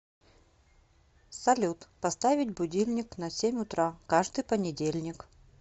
салют поставить будильник на семь утра каждый понедельник